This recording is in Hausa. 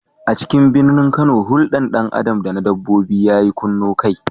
A cikin birnin Kano, huldar dan Adam da na dabbobi ya kunno kai.